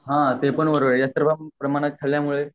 हा ते पण बरोबर आहे जास्त प्रमाणात खाल्यामुळे